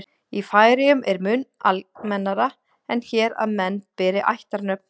í færeyjum er mun almennara en hér að menn beri ættarnöfn